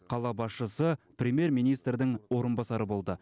қала басшысы премьер министрдің орынбасары болды